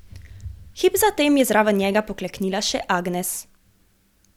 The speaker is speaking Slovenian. Hip zatem je zraven njega pokleknila še Agnes.